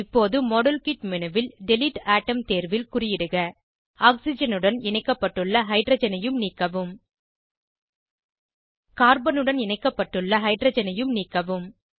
இப்போது மாடல்கிட் menuல் delete atom தேர்வில் குறியிடுக ஆக்சிஜனுடன் இணைக்கப்பட்டுள்ள ஹைட்ரஜனையும் நீக்கவும் கார்பனுடன் இணைக்கப்பட்டுள்ள ஹைட்ரஜனையும் நீக்கவும்